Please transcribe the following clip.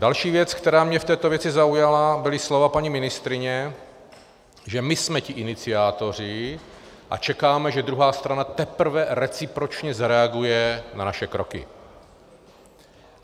Další věc, která mě v této věci zaujala, byla slova paní ministryně, že my jsme ti iniciátoři a čekáme, že druhá strana teprve recipročně zareaguje na naše kroky.